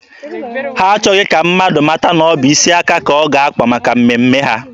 Ha achọghị ka mmadụ mata na ọ bụ isi aka ka ọ ga-akpa maka mmemme ha.